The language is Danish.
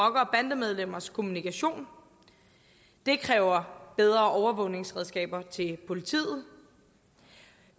bandemedlemmers kommunikation det kræver bedre overvågningsredskaber til politiet